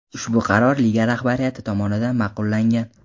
Ushbu qaror liga rahbariyati tomonidan ma’qullangan.